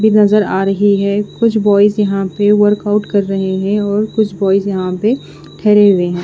भी नज़र आ रही है कुछ बॉयज यहाँ पे वर्कआउट कर रहे है और कुछ बॉयज यहाँ पे ठेरे हुए है।